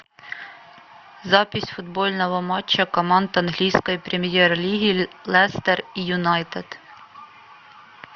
запись футбольного матча команд английской премьер лиги лестер и юнайтед